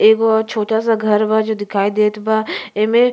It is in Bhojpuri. एगो और छोटा सा घर बा जो दिखाइत देत बा। एमें --